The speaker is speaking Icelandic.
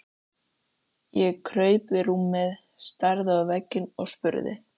Ég kraup við rúmið, starði á vegginn og spurði